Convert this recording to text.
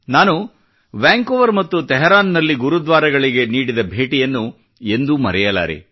ನಾನು ವ್ಯಾಂಕೋವರ್ ಮತ್ತು ತೆಹರಾನ್ ನಲ್ಲಿ ಗುರುದ್ವಾರಗಳಿಗೆ ನೀಡಿದ ಭೇಟಿಯನ್ನು ಎಂದೂ ಮರೆಯಲಾರೆ